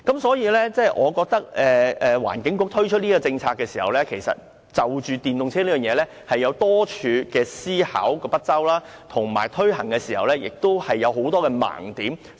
所以，我認為環境局就着電動車的問題，推出有關政策時，有很多地方思考不周，而且推行時有很多盲點。